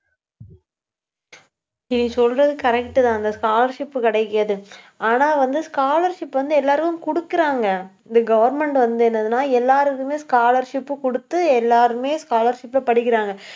நீ சொல்றது correct தான் அந்த scholarship கிடைக்காது. ஆனா வந்து, scholarship வந்து, எல்லாரும் கொடுக்குறாங்க. இந்த government வந்து என்னதுன்னா, எல்லாருக்குமே scholarship உ கொடுத்து எல்லாருமே scholarship ல படிக்கிறாங்க